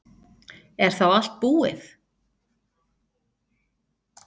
Er þá allt búið?